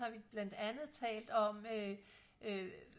har vi blandt andet talt om øh øh